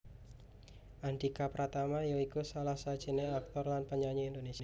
Andhika Pratama ya iku salah siji aktor lan penyanyi Indonésia